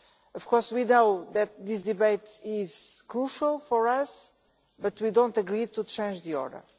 Of course we know that this debate is crucial for us but we do not agree to change the order.